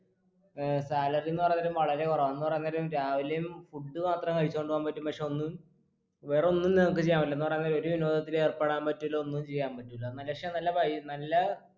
ഏർ salary ന്ന് പറയാനേരം വളരെ കുറവാണ് എന്ന് പറയാം നേരം രാവിലെയും food മാത്രം കഴിച്ചോണ്ട് പോവാൻ പറ്റും പക്ഷെ ഒന്ന് വേറെ ഒന്നും നിങ്ങക്ക് ചെയ്യാൻ പറ്റില്ല എന്ന് പറയാനേരം ഒരു വിനോദത്തിലും ഏർപ്പെടാൻ പറ്റൂല്ല ഒന്നും ചെയ്യാൻ പറ്റൂല്ല എന്നല് പക്ഷേ നല്ല വൈ നല്ല